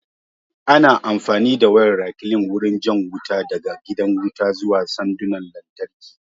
Ana amfani da wayar rekline wurin jan wuta daga gidan wuta zuwa sandunan lantarki